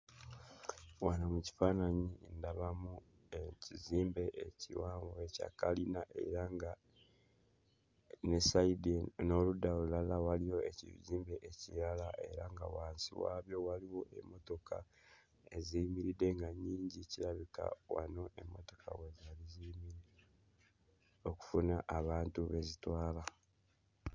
Wano mu kifaananyi ndabamu ekizimbe ekiwanvu ekya kalina era nga ne sayidi n'oludda olulala waliyo ekizimbe ekirala era nga wansi waabyo waliwo emmotoka eziyimiridde nga nnyingi kirabika wano emmotoka we zaali ziyimirira okufuna abantu be zitwala.